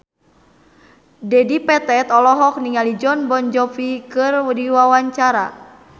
Dedi Petet olohok ningali Jon Bon Jovi keur diwawancara